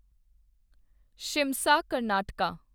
Shimsha Karnataka